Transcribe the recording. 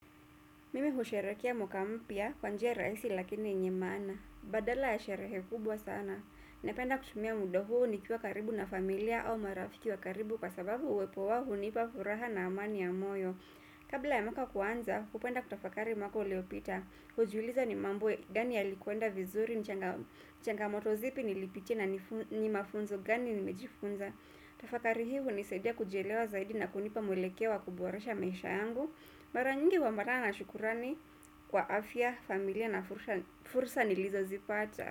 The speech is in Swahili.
Mimi husherehekea mwaka mpya kwa njia rahisi lakini yenye maana. Badala ya sherehe kubwa sana. Ninapenda kutumia muda huo nikiwa karibu na familia au marafiki wa karibu kwa sababu uwepo wao hunipa furaha na amani ya moyo. Kabla ya mwaka kuanza, hupenda kutafakari mwaka uliopita. Hujiuliza ni mambo gani yalikwenda vizuri, changamoto zipi nilipitia, na ni mafunzo gani nimejifunza. Tafakari hii hunisaidia kujielewa zaidi na kunipa mwelekeo wa kuboresha maisha yangu. Mara nyingi huambatana na shukrani kwa afya, familia na fursa nilizozipata.